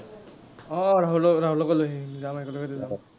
আহ ৰহুলক ৰাহুলকো লৈ আহিম। যাম একেলগতে যাম।